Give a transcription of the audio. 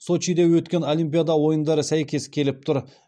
сочиде өткен олимпиада ойындары сәйкес келіп тұр